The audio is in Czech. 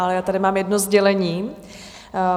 Ale já tady mám jedno sdělení.